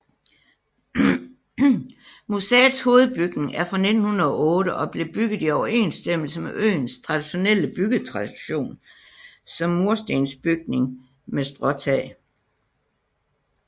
Museets hovedbygning er fra 1908 og blev bygget i overensstemmelse med øens traditionelle byggetradition som murstensbygning med stråtag